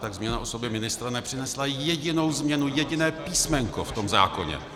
Tak změna osoby ministra nepřinesla jedinou změnu, jediné písmenko v tom zákoně.